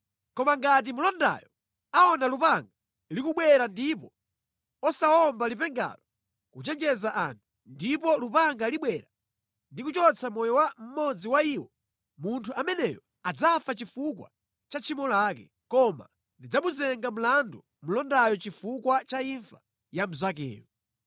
Koma ngati mlondayo aona lupanga likubwera ndipo osawomba lipengalo kuchenjeza anthu, ndipo lupanga libwera ndi kuchotsa moyo wa mmodzi mwa iwo, munthu ameneyo adzafa chifukwa cha tchimo lake, koma ndidzamuyimba mlandu mlondayo chifukwa cha imfa ya mnzakeyo.’